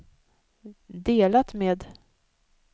delat med